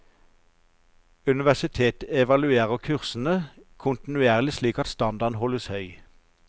Universitetet evaluerer kursene kontinuerlig slik at standarden holdes høy.